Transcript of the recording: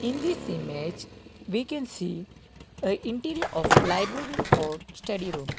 this image we can see a interior of library or study room.